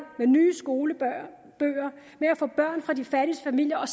med nye skolebøger med at få børn fra de fattigste familier